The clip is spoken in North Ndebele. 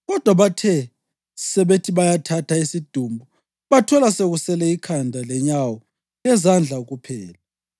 Kodwa bathe sebethi bayathatha isidumbu bathola sekusele ikhanda lenyawo lezandla kuphela.